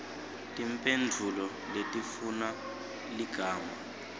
timphendvulo letifuna ligama